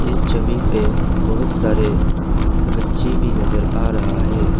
इस छवि पे बहुत सारे गच्ची भी नजर आ रहा है।